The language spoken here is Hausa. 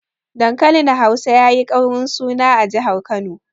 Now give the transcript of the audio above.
Dankalin Hausa yayi ƙaurin suna a jihar Kano.